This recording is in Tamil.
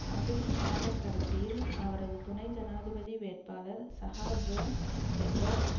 ஆகஸ்ட் மாதக்கடைசியில் அவரது துணை ஜனாதிபதி வேட்பாளர் சகா ஜோன் எட்வார்ட்ஸ்